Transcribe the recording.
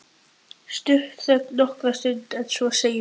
Stutt þögn nokkra stund en svo segir Bjössi: